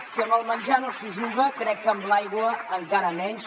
si amb el menjar no s’hi juga crec que amb l’aigua encara menys